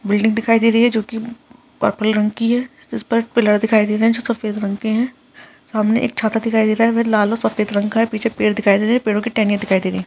Building दिखाई दे रही है जो की पर्पल रंग की है जिस पर पिलर दिखाई दे रहा है जो सफेद रंग के हैं सामने एक छाता दिखाई दे रहा है वह लाल और सफेद रंग का है पीछे पेड़ दिखाई दे रहे हैं पेड़ों की टहनियां दिखाई दे रही है।